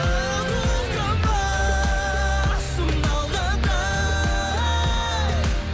тоқтама сыналғанда